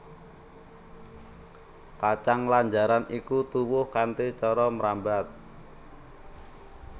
Kacang lanjaran iki tuwuh kanthi cara mrambat